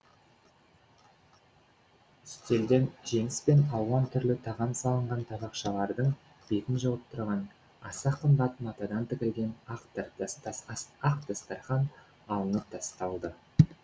үстелден жеміс пен алуан түрлі тағам салынған табақшалардың бетін жауып тұрған аса қымбат матадан тігілген ақ дастарқан алынып тасталды